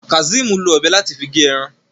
Kazeem ló Ọ̀bẹ láti fí ge èràn